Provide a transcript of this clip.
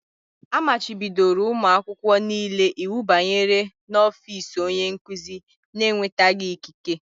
A machibidoro ụmụ akwụkwọ niile iwu ịbanye n'ọfiisi onye nkuzi n'enwetaghị ikike.